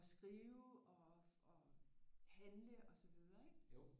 Og skrive og handle og så videre ik